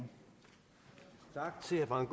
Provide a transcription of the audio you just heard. gang